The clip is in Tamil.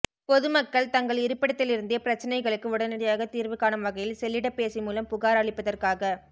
பொதுமக்கள் தங்கள் இருப்பிடத்திலிருந்தே பிரச்னைகளுக்கு உடனடியாகத் தீா்வு காணும் வகையில் செல்லிடப்பேசி மூலம் புகாா் அளிப்பதற்காக